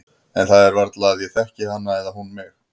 En það er varla að ég þekki hana eða hún mig.